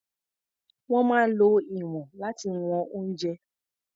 Wọ́n máa ń lo ìwọ̀n láti wọn oúnjẹ.